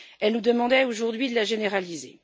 Elle nous demandait, aujourd'hui, de la généraliser.